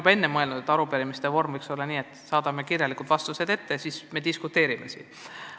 Ma olen ammu mõelnud, et arupärimistele vastamise vorm võiks olla selline, et me saadame kirjalikud vastused ette ja seejärel diskuteerime siin saalis.